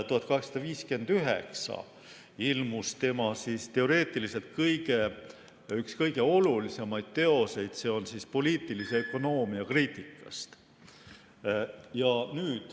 – 1859 ilmus tema teoreetiliselt üks kõige olulisemaid teoseid, "Poliitilise ökonoomia kriitikast".